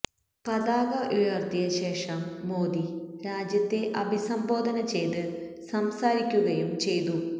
പതാക ഉയര്ത്തിയ ശേഷം മോദി രാജ്യത്തെ അഭിസംബോധന ചെയ്ത് സംസാരിക്കുകയും ചെയ്തു